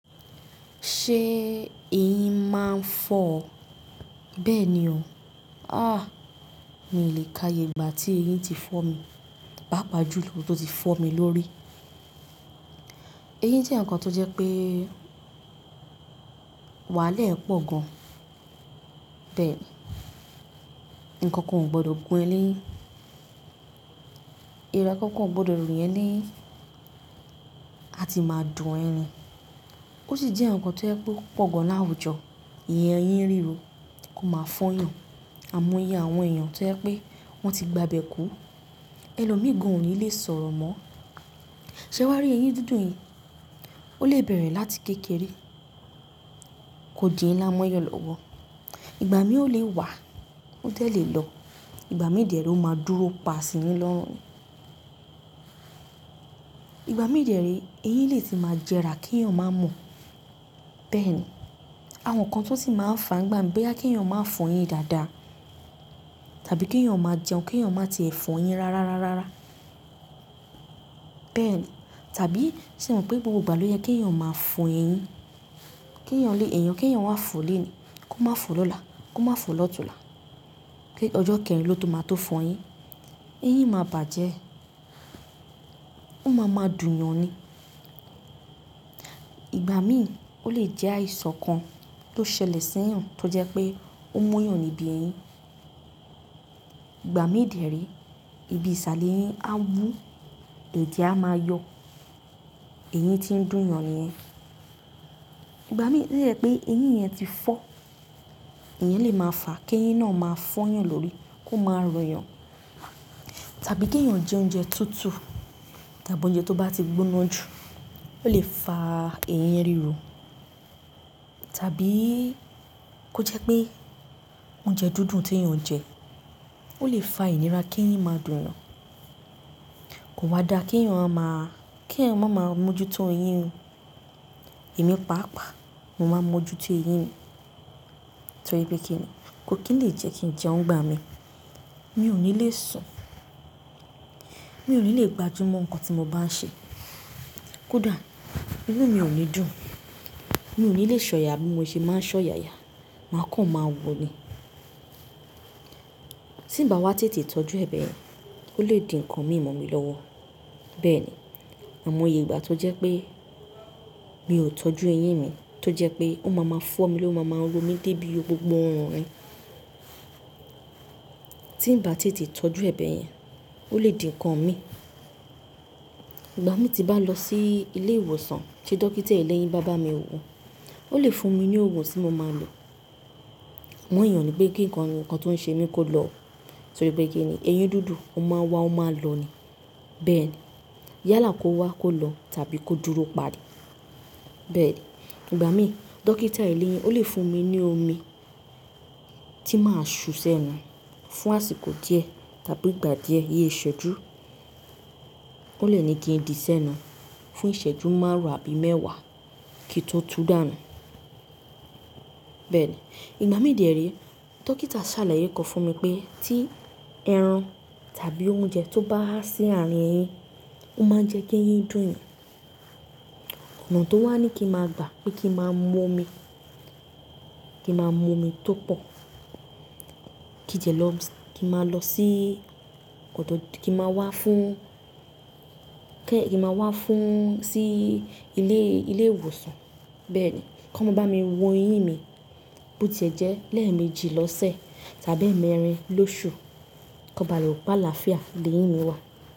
Ṣé eyín máa ń fọ́ ọ? Bẹ́ẹ̀ni ò. Ah! Mi ò lè káye ìgbà tí eyín ti fọ́ mi, pàápàá jùlọ tó ti fọ́ mi lórí. Eyín jẹ́ ǹkan tó jẹ́ pé wàhálà ẹ̀ pọ̀ gan. Bẹ́ẹ̀ni, ǹkan kan ò gbọdọ̀ gún ẹ lẹ́yìn, èèrà kankan ò gbọdọ̀ rìn ẹ́ lẹ́yìn, a ti máa dùn ẹ́ ni. Ó sì jẹ́ ǹkan kan tó jẹ́ pé ó pọ̀ gan láwùjọ. Ìyẹn eyín ríro kó máa fọ́yan, àìmọye àwọn èèyàn tó jẹ́ pé wọ́n ti gba ibẹ̀ kú. Ẹlòmíì gàn ò ní lè sọ̀rọ̀ mọ́. Ṣẹ wàá rí eyín dídùn yẹn? Ó lè bẹ̀rẹ̀ láti kékeré, kò di ìnlá mọ́yàn lọ́wọ́. Ìgbà mìí ó lè wà, ó dẹ̀ lè lọ, ìgbà mìí dẹ̀ ré ó máa dúró pa sì yín lọ́rùn. Ìgbà mìír dẹ̀ ré, eyín lè ti máa jẹrà kí èèyàn máa mọ̀. Bẹ́ẹ̀ni, àwọn nǹkan tí ó sì máa ń fàá nígbà míì bóyá kí èèyàn máa fọyín dáadáa, tàbí kí èèyàn máa jẹun, kí èèyàn má tí ì fọyín rárá rárá rárá. Bẹ́ẹ̀ni, tàbí ṣé o mọ̀ pé gbogbo ìgbà ló yẹ kí èèyàn máa fọ eyín? Kí èèyàn lé èèyàn, kí èèyàn wá fọ̀ ó lénìí kó máa fọ̀ ọ́ lọ́la, kó máa fọ̀ ọ́ lọ́túnla, kí ọjọ́ kẹrin ló tó máa tó fọyín. Eyín máa bàjẹ́, ó máa ma dùn yàn ni. Ìgbà míì ó lè jẹ́ àìsàn kan tó ṣẹlẹ̀ sí ọ, tó jẹ́ pé ó múyàn níbi eyín. Ìgbà mìí dẹ̀ ré, ibi ìsàlẹ̀ eyín á wú, ètè á máa yọ, eyín tí ń dùn yàn nìyẹn. Ìgbà mìí ó dẹ̀ lè jẹ́ pé eyín yẹn ti fọ́, èyí lè máa fà á kí eyín náà máa fọ́yàn lórí, kó máa rò yàn. Tàbí kí èèyàn jẹ oúnjẹ tútù, tàbí oúnjẹ tó bá ti gbóná jù, ó lè fa eyín ríro. Tàbí kó jẹ́ pé oúnjẹ dúndún tí èèyàn ń jẹ, ó lè fa ìnira kí eyín máa dùn yàn. Kò wá dáa kí èèyàn má ma, kí èèyàn má máa mójútó eyín o. Èmi pàápàá mo máa ń mójú tó eyín mi. Torí pé kí ni, ko kí lè jẹ́ kí n jẹun ìgbà mí, mi ò ní lè sùn, mi ò ní lè gbájú mọ́ ǹkan tí mo bá ń ṣe. Kódà inú mi ò ní dùn, mi ò ní lè ṣọ̀yà bí mo ṣe máa ń ṣọ̀yàyà, mà kàn máa wò ni. Tí ń bá wá tètè tọ́jú ẹ bẹ́yẹn, ó lè di ǹkan mi ì mọ̀ mi lọ́wọ́. Bẹ́ẹ̀ni, àìmoye ìgbà tó jẹ́ pé mi ò tọ́jú eyín mi, tó jẹ́ pé ó máa máa fọ́ mi lórí ó máa máa ro mi débi gbogbo órùn mi. Tí ń bá tètè tọ́jú ẹ bẹ́yẹn, ó lè di ǹkan mi. Ìgbà mí tí bá lọ sí ilé ìwòsàn, tí dókítà eléyín bá bá mi wò ó, ó lè fún mi ní ògùn tí mo máa lò. Àmọ́ ìyẹn ó ní pé kí ǹkan kan tó ń ṣe mí kó lọ. Torí pé kí ni, eyín dúndún ó máa n wá ó máa lọ ni. Bẹ́ẹ̀ni, yálà kó wá kó lọ tàbí kó dúró pa ní. Bẹ́ẹ̀ni, ìgbà míì, dókítà eléyín ó lè fún mi ní omi tí màá ṣú sẹ́nu fún àsìkò díẹ̀ tàbí ìgbà díẹ̀ iye ìṣẹ́jú. Ó lè ní kí n dìí sẹ́nu fún ìṣẹ́jú márùn-ún àbí mẹ́wàá kíi n tó tuú dànù. Bẹ́ẹ̀ni, ìgbà mìí dẹ̀ ré, dókítà ṣàlàyé kan fún mi pé tí ẹran tàbí oúnjẹ tó bá há sí àárín eyín, ó máa ń jẹ́ kí eyín dùn yàn. Ọ̀nà tó wà ní kí n máa gbà kí n máa mú omi, kí n máa mú omi tó pọ̀, kí n dẹ̀ lọ, kí n máa lọ sí ọ̀tọ̀, kí n máa wá fún, kí n máa wá fún sí ilé, ilé ìwòsàn. Bẹ́ẹ̀ni, kí wọ́n bá mi wo eyín mi bó ti ẹ̀ jẹ́ lẹ́ẹ̀mejì lọ́sẹ̀ tàbí ẹ̀mẹrin lóṣù kí wọ́n bá lè.mọ̀ pé lááfíà léyín mi wá.